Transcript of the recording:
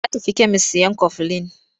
Ya tafi kemis sayan kofilin.